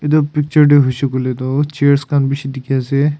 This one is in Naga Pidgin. itu picture toh huishe kuile toh chairs khan bishi dikhi ase.